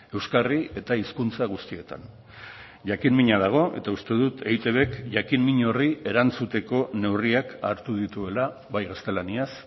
euskarri eta hizkuntza guztietan jakin mina dago eta uste dut eitbk jakin min horri erantzuteko neurriak hartu dituela bai gaztelaniaz